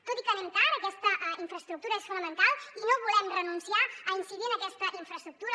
tot i que anem tard aquesta infraestructura és fonamental i no volem renunciar a incidir en aquesta infraestructura